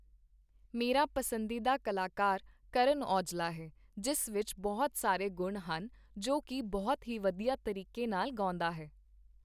ਮੇਰਾ ਪਸੰਦੀਦਾ ਕਲਾਕਾਰ ਕਰਨ ਔਜਲਾ ਹੈ, ਜਿਸ ਵਿੱਚ ਬਹੁਤ ਸਾਰੇ ਗੁਣ ਹਨ, ਜੋ ਕਿ ਬਹੁਤ ਹੀ ਵਧੀਆ ਤਰੀਕੇ ਨਾਲ਼ ਗਾਉਂਦਾ ਹੈ